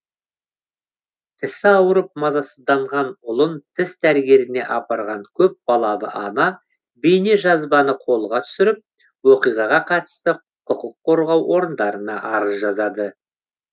тісі ауырып мазасызданған ұлын тіс дәрігеріне апарған көп балалы ана бейнежазбаны қолға түсіріп оқиғаға қатысты құқыққорғау орындарына арыз жазады